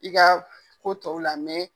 I ka ko tɔw la